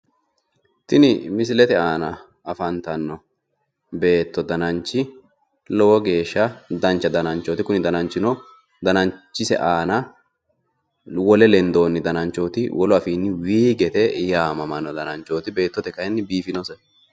tini misilete aana leeltanno noo beetto dananchi lowo geeshsha dancha dananchooti kuni dananchino dananchise aana wole lendoonni dananchooti wolu afiinnino wiigete yaamamanno. Beettote kayiinni biifinose.